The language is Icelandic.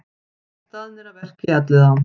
Staðnir að verki í Elliðaám